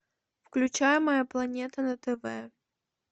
включай моя планета на тв